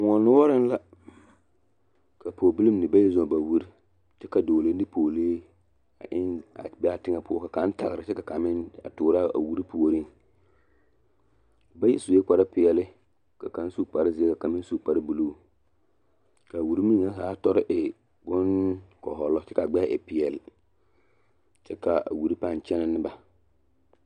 Kõɔ noɔreŋ la ka pɔɔbilii mine bayi zɔɔ ba wiri ka dɔɔlee ne pɔɔlee be a teŋɛ poɔ ka kaŋ taɡra kyɛ ka kaŋ meŋ a tuuro a wiri puoriŋ bayi sue kparpeɛle ka kaŋ su kparzeɛ ka kaŋ meŋ su buluu ka a wiri meŋɛ ha tɔre e bonkɔhɔlɔ kyɛ ka a ɡbɛɛ e peɛl kyɛ ka a wiri pãã kyɛnɛ ne ba.